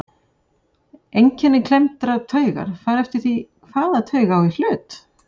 Einkenni klemmdrar taugar fara eftir því hvaða taug á í hlut.